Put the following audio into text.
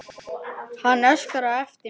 Hann öskraði á eftir mér.